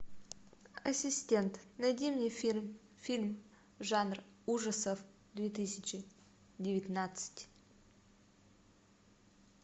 ассистент найди мне фильм фильм жанр ужасов две тысячи девятнадцать